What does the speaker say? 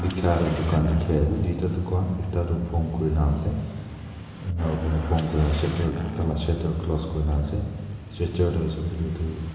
bekhara tugan dekhe ase tuita tu kwa ekta tu pon kure na ase ungna kurena pon karena shatter taila shatter close kurena ase shatter tey ase koiletu.